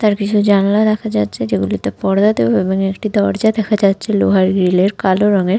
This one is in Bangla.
তার কিছু জানলে রাখা যাচ্ছে যেগুলোতে পড়বে এবং একটি দরজা দেখা যাচ্ছে লোহার গ্রিল -এর কালো রংএর--